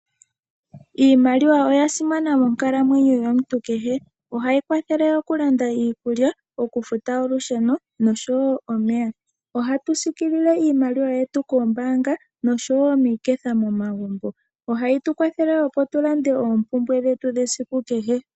Iimaliwa oya simana monkalamwenyo yomuntu kehe, ohayi kwathele okulanda iikulya, okufuta olusheno, noshowo omeya. Ohatu siikilile iimaliwa yetu koombaanga, noshowo miiketha momagumbo. Ohayi tu kwathele woo opo tu lande oompumbwe dhetu dhesiku kehe.